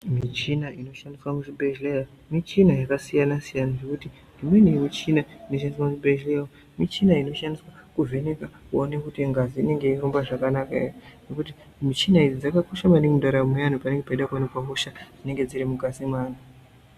Michina inoshandiswa muchibhehleya michina yakasiyasiyana zvekuti imweni michina inoshandiswa muchibhehleya michina inoshandiswa kuvheneka kuona kuti ngazi inenge yeirumba zvakanaka here nekuti michina idzi dzakakosha maningi mundaramo yevanhu panenge peida kuonekwa hosha inenge iri mukati me anhu